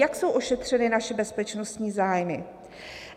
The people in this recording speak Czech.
Jak jsou ošetřeny naše bezpečnostní zájmy?